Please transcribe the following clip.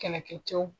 Kɛlɛkɛ cɛw